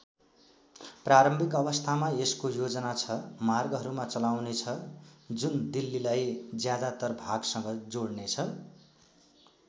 प्रारम्भिक अवस्थामा यसको योजना छ मार्गहरूमा चलाउने छ जुन दिल्लीलाई ज्यादातर भागसँग जोड्नेछ।